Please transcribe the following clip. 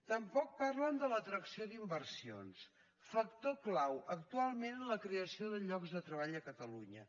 tampoc parlen de l’atracció d’inversions factor clau actualment en la creació de treball a catalunya